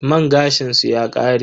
Man gashin su ya kare.